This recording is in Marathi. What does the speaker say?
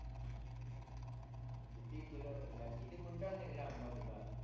किती किलो निघला किती गुंठ निघला आंबा तुझा